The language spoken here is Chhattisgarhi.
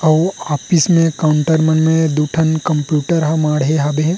अऊ ऑफिस मे काउन्टर मन मे दु ठन कंप्युटर हा माड़हे हवे।